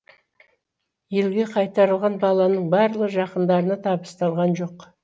елге қайтарылған баланың барлығы жақындарына табысталған жоқ